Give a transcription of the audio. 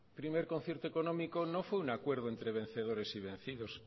primer concierto económico no fue un acuerdo entre vencedores y vencidos